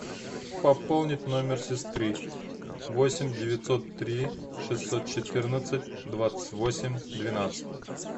пополнить номер сестры восемь девятьсот три шестьсот четырнадцать двадцать восемь двенадцать